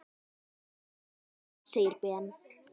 Ég skildi hann! segir Ben.